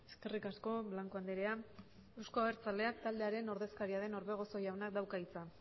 eskerrik asko blanco andrea euzko abertzaleak taldearen ordezkaria den orbegozo jaunak dauka hitza